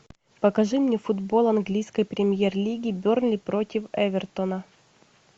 покажи мне футбол английской премьер лиги бернли против эвертона